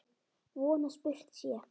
Von að spurt sé.